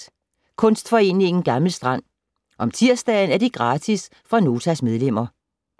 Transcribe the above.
Kunstforeningen Gammel Strand - om tirsdagen er det gratis for Notas medlemmer.